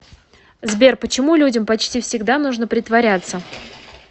сбер почему людям почти всегда нужно притворяться